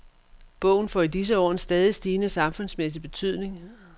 Bogen får i disse år en stadigt stigende samfundsmæssig betydning.